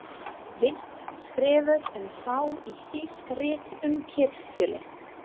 Vill skrifa um þá í þýsk rit um kirkjulist.